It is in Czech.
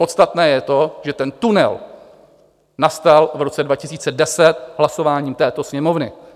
Podstatné je to, že ten tunel nastal v roce 2010 hlasováním této Sněmovny.